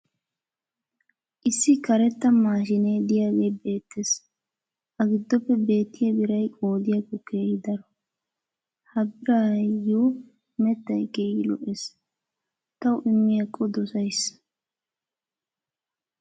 issi karetta maashshiinee diyagee beetees. a gidoppe beettiya biray qoodiyakko keehi daro. ha biraayo metay keehi lo'ees. tawu immiyakko dosays.